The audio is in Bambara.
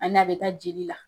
Ani a be taa jeli la.